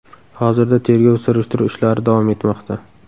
Hozirda tergov surishtiruv ishlari davom etmoqda.